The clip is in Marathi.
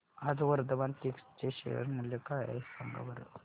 आज वर्धमान टेक्स्ट चे शेअर मूल्य काय आहे सांगा बरं